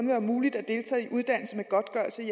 være muligt at deltage i uddannelse med godtgørelse i